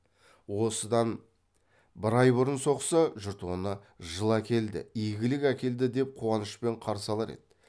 осыдан бір ай бұрын соқса жұрт оны жыл әкелді игілік әкелді деп қуанышпен қарсы алар еді